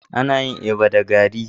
Ana yin eba da garri.